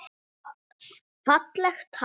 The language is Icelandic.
Fallegt land.